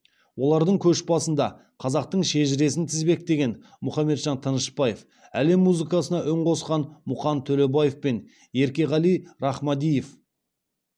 олардың көш басында қазақтың шежіресін тізбектеген мұхаметжан тынышпаев әлем музыкасына үн қосқан мұқан төлебаев пен еркеғали рахмадиев